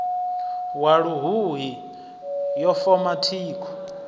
wa luhuhi yo foma thikho